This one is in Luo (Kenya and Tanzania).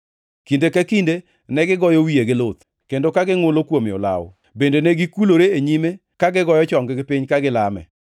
Kinde ka kinde negigoyo wiye gi luth, kendo ka gingʼulo kuome olawo, bende negikulore e nyime ka gigoyo chong-gi piny ka gilame.